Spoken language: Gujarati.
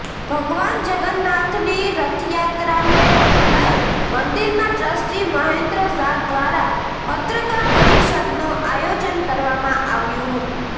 ભગવાન જગન્નાથની રથયાત્રાને લઈ મંદિરના ટ્રસ્ટી મહેન્દ્ર ઝા દ્વારા પત્રકાર પરિસદનું આયોજન કરવામાં આવ્યું હતું